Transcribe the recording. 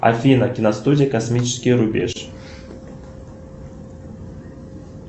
афина киностудия космический рубеж